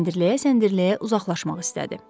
Səndirləyə-səndirləyə uzaqlaşmaq istədi.